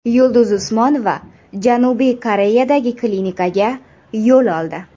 Yulduz Usmonova Janubiy Koreyadagi klinikaga yo‘l oldi .